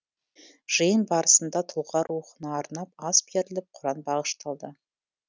жиын барысында тұлға рухына арнап ас беріліп құран бағышталды